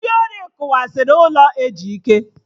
Ndị ori tibanye n'ụlọ Ejike